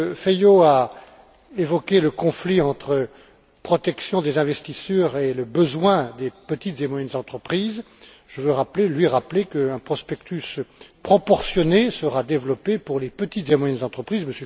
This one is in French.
Feio a évoqué le conflit entre la protection des investisseurs et le besoin des petites et moyennes entreprises. Je veux lui rappeler qu'un prospectus proportionné sera développé pour les petites et moyennes entreprises.